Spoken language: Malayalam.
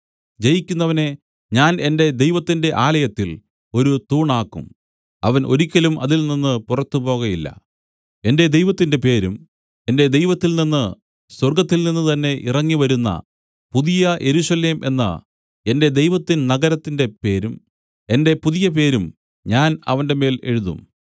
ജയിക്കുന്നവനെ ഞാൻ എന്റെ ദൈവത്തിന്റെ ആലയത്തിൽ ഒരു തൂണാക്കും അവൻ ഒരിക്കലും അതിൽനിന്ന് പുറത്തുപോകയില്ല എന്റെ ദൈവത്തിന്റെ പേരും എന്റെ ദൈവത്തിൽ നിന്നു സ്വർഗ്ഗത്തിൽനിന്ന് തന്നേ ഇറങ്ങിവരുന്ന പുതിയ യെരൂശലേം എന്ന എന്റെ ദൈവത്തിൻ നഗരത്തിന്റെ പേരും എന്റെ പുതിയ പേരും ഞാൻ അവന്റെമേൽ എഴുതും